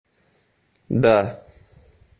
да